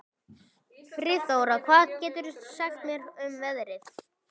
Friðþóra, hvað geturðu sagt mér um veðrið?